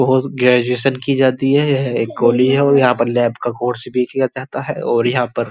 Post graduation की जाती है। यह एक गोली है और यहाँ पर लैब का कोर्स भी किया जाता है और यहाँ पर --